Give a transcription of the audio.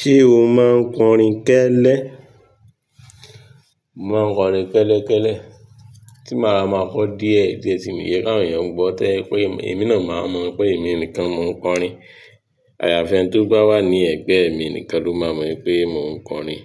Ṣé o máa ń kọrin kẹ́lẹ́? Mo máa ń kọrin kẹ́lẹ́ kẹ́lẹ́, tí màá máa kọ díẹ̀ díẹ̀ tíì mi ni jẹ́ káwọn èèyàn ń gbọ́ tó jẹ́ pé èmi náà máa mọ̀ pé èmi nìkan mo ń kọrin. Àyààfi ẹni tó bà wà ní ẹ̀gbẹ́ mi nìkan ló máa mọ̀ wí pé mò ń kọrin.